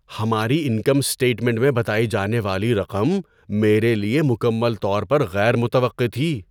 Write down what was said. ہماری income statement میں بتائی جانے والی رقم میرے لیے مکمل طور پر غیر متوقع تھی۔